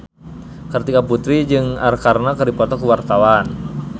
Kartika Putri jeung Arkarna keur dipoto ku wartawan